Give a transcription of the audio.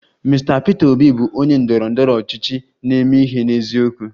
Mr Peter Obi bụ onye ndọrọ ndọrọ ọchịchị na-eme ihe n'eziokwu